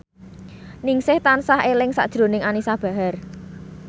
Ningsih tansah eling sakjroning Anisa Bahar